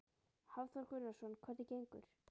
Hafþór Gunnarsson: Hvernig gengur?